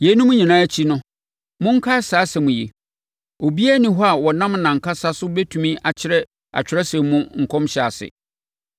Yeinom nyinaa akyi no, monkae saa asɛm yi: Obiara nni hɔ a ɔnam nʼankasa so bɛtumi akyerɛ Atwerɛsɛm mu nkɔmhyɛ ase.